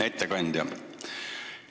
Hea ettekandja!